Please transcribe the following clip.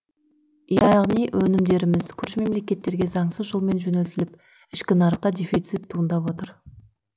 яғни өнімдеріміз көрші мемлекеттерге заңсыз жолмен жөнелтіліп ішкі нарықта дефицит туындап отыр